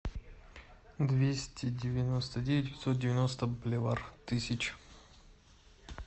двести девяносто девять пятьсот девяносто боливар тысяч